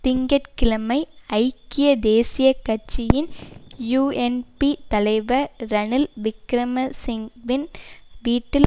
திங்க கிழமை ஐக்கிய தேசிய கட்சியின் யூஎன்பி தலைவர் ரணில் விக்கிரமசிங் வின் வீட்டில்